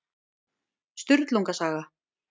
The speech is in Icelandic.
Sturlunga saga.